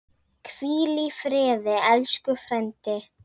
Hvíl í friði, elsku frændi.